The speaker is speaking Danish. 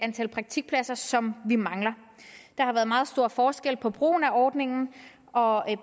antal praktikpladser som vi mangler der har været meget stor forskel på brugen af ordningen og